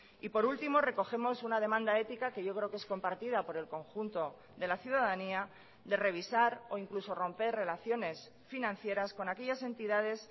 y por último recogemos una demanda ética que yo creo que es compartida por el conjunto de la ciudadanía de revisar o incluso romper relaciones financieras con aquellas entidades